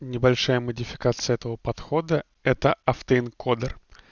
небольшая модификация этого подхода это автоинкодер